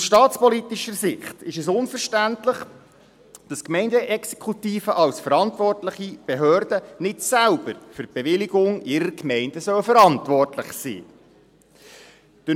Aus staatspolitischer Sicht ist es unverständlich, dass die Gemeindeexekutive als verantwortliche Behörde nicht selbst für die Bewilligungen in ihrer Gemeinde verantwortlich sein soll.